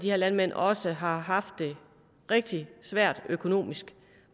de her landmænd også har haft det rigtig svært økonomisk